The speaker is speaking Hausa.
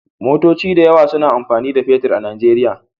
Motoci da yawa suna amfani da fetir a Nijeriya.